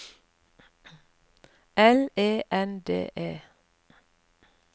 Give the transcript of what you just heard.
L E N D E